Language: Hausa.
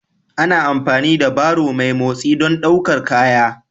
Ana amfani da barrow mai motsi don ɗaukar kaya